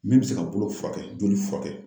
Min bɛ se ka bolo furakɛ, joli furakɛ